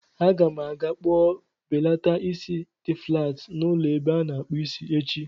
Aga m aga kpụọ mbelata isi dị flaat n'ụlọ ebe a na-akpụ isi echi.